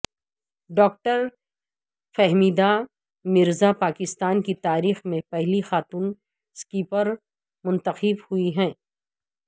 doctor Fahmida Mirza Pakistan کی تاریخ میں پہلی خاتون سپیکر منتخب ہوئی ہیں